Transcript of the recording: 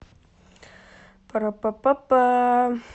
пара па па па